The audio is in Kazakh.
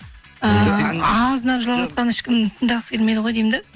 азынап жылап жатқан ешкімді тыңдағысы келмейді ғой деймін де